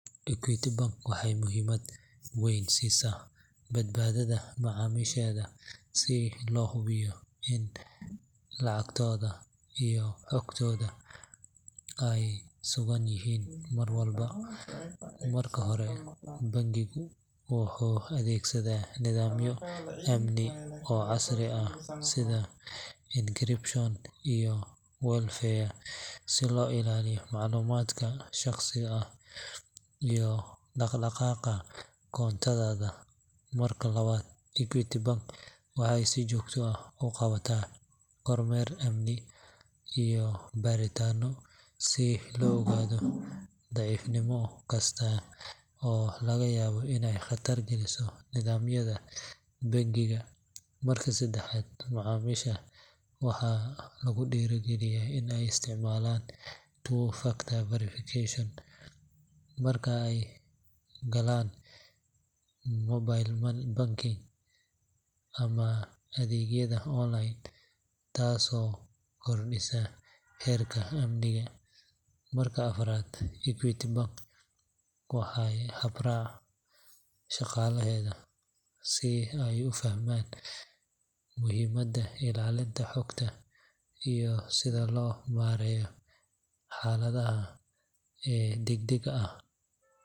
Equity Bank waxay muhiimad weyn siisaa badbaadada macaamiisheeda si loo hubiyo in lacagtooda iyo xogtooduba ay sugan yihiin mar walba. Marka hore, bangigu wuxuu adeegsadaa nidaamyo amni oo casri ah sida encryption iyo firewalls si loo ilaaliyo macluumaadka shaqsiga ah iyo dhaqdhaqaaqa koontada. Marka labaad, Equity Bank waxay si joogto ah u qabataa kormeer amni iyo baaritaanno si loo ogaado daciifnimo kasta oo laga yaabo inay khatar geliso nidaamyada bangiga. Marka saddexaad, macaamiisha waxaa lagu dhiirrigeliyaa in ay isticmaalaan two-factor authentication marka ay galayaan mobile banking ama adeegyada online, taasoo kordhisa heerka amniga. Marka afaraad, Equity Bank waxay tababartaa shaqaalaheeda si ay u fahmaan muhiimadda ilaalinta xogta iyo sida loo maareeyo xaaladaha amni ee degdegga ah.